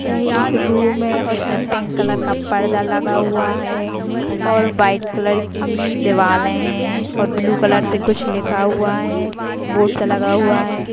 यह एक रूम है अ उसमे पिंक कलर का पर्दा लगा हुआ है और व्हाइट कलर की दिवाले है और ब्लू कलर से कुछ लिखा हुआ है बोर्ड सा लगा हुआ है।